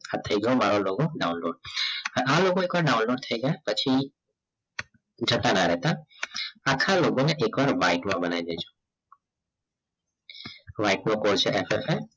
આ થઈ ગયો મારો logo download આ logo એકવાર download થઈ જાય પછી જતા ના રહેતા આખા logo ને એકવાર white માં બનાવી દેજો નો white નો portion add થશે